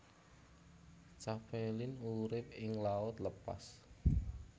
Capelin urip ing laut lepas